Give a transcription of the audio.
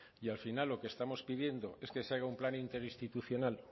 y al final lo que estamos pidiendo es que se haga un plan interinstitucional